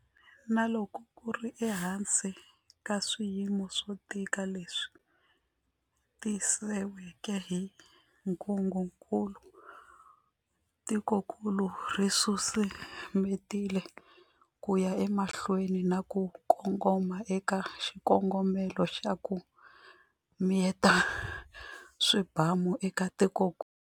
Na loko ku ri ehansi ka swiyimo swo tika leswi tisiweke hi ntungukulu, tikokulu ri susumetile ku ya emahlweni na ku kongoma eka xikongomelo xa 'ku miyeta swibamu' eka tikokulu.